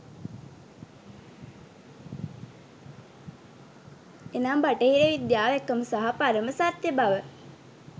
එනම් බටහිර විද්‍යාව එකම සහ පරම සත්‍යබව